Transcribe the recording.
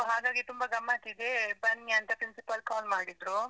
ಹಾಗಾಗಿ ತುಂಬ ಗಮತ್ತ್ ಇದೆ, ಬನ್ನಿಅಂತ principal call ಮಾಡಿದ್ರು.